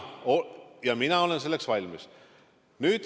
Ja mina olen selleks valmis.